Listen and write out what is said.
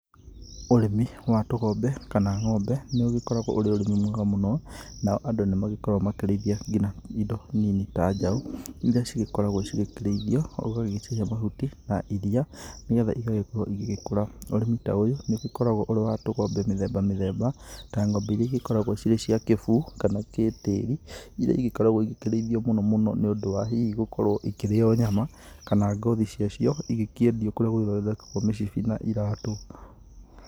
Ũrĩmi wa tũgombe kana ng'ombe nĩ ũgĩkoragwo ũrĩ ũrĩmi mwega mũno, nao andũ nĩ magĩkoragwo makĩrĩithia nginya indo nini ta njaũ iria cigĩkoragwo cigĩkĩrĩithio, ũgagĩcihe mahuti na iria nĩgetha igagĩkorwo igĩkũra. Ũrĩmi ta ũyũ nĩ ũkoragwo ũrĩ wa tũgombe mĩthemba mĩthemba ta ng'ombe iria cikoragwo irĩ cia kĩbuu, kana cia kĩtĩri, iria igĩkoragwo igĩkĩrĩithio mũno mũno nĩ ũndũ wa hihi gũkorwo ikĩrĩo nyama kana ngothi ciacio igĩkĩendio kũrĩa gũgĩthondekaga mĩcibi na iratũ.